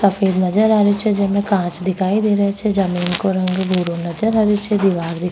सफेद नजर आ रहियो छे जिमे काच दिखाई दे रहियो छे जमीन को रंग भुरो नजर आवे छे दिवार --